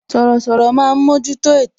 Sọ̀rọ̀sọ̀rọ̀ máa ń mojuto ètò